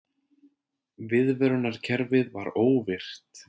Viðvörunarkerfið var óvirkt